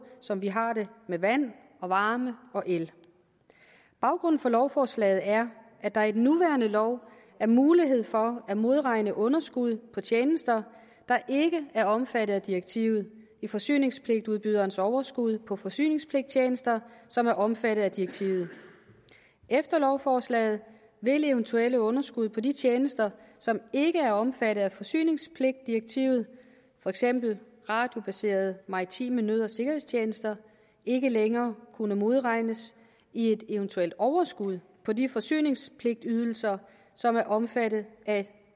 som vi har det med vand og varme og el baggrunden for lovforslaget er at der i den nuværende lov er mulighed for at modregne underskud på tjenester der ikke er omfattet af direktivet i forsyningspligtudbyderens overskud på forsyningspligttjenester som er omfattet af direktivet efter lovforslaget vil eventuelle underskud på de tjenester som ikke er omfattet af forsyningspligtdirektivet for eksempel radiobaserede maritime nød og sikkerhedstjenester ikke længere kunne modregnes i et eventuelt overskud på de forsyningspligtydelser som er omfattet af